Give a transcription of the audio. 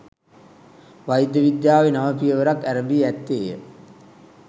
වෛද්‍ය විද්‍යාවේ නව පියවරක් ඇරඹී ඇත්තේය